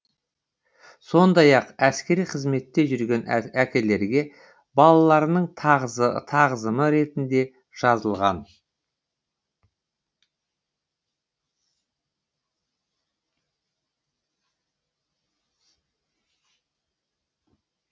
сондай ақ әскери қызметте жүрген әкелерге балаларының тағзымы ретінде жазылған